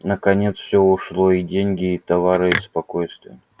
наконец всё ушло и деньги и товары и спокойствие